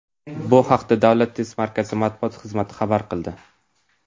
Bu haqda Davlat test markazi matbuot xizmati ma’lum qildi .